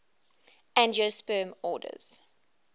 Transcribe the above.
angiosperm orders